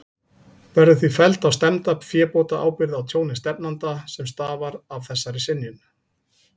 Verður því felld á stefnda fébótaábyrgð á tjóni stefnanda, sem stafar af þessari synjun.